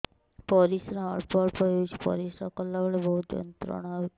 ପରିଶ୍ରା ଅଳ୍ପ ଅଳ୍ପ ହେଉଛି ପରିଶ୍ରା କଲା ବେଳେ ବହୁତ ଯନ୍ତ୍ରଣା ହେଉଛି